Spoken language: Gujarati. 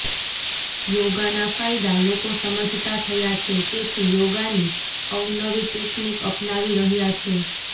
યોગાના ફાયદા લોકો સમજતા થયા છે તેથી યોગાની અવનવી ટેક્નિક અપનાવી રહ્યા છે